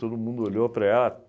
Todo mundo olhou para ela.